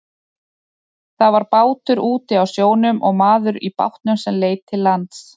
Það var bátur úti á sjónum og maður í bátnum sem leit til lands.